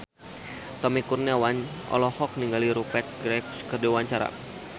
Tommy Kurniawan olohok ningali Rupert Graves keur diwawancara